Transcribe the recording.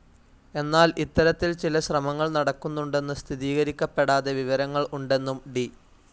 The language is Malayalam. എന്നാൽ ഇത്തരത്തിൽ ചില ശ്രമങ്ങൾ നടക്കുന്നുണ്ടെന്ന് സ്ഥിരീകരിക്കപ്പെടാതെ വിവരങ്ങൾ ഉണ്ടെന്നും ഡി.